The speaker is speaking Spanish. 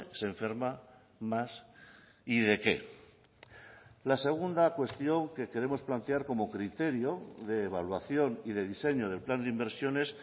se enferma más y de qué la segunda cuestión que queremos plantear como criterio de evaluación y de diseño del plan de inversiones